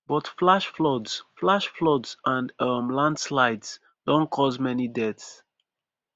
but flash floods flash floods and um landslides don cause many deaths